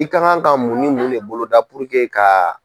I ka kan ka mun ni mun de boloda k'a.